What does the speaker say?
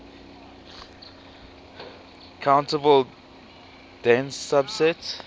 countable dense subset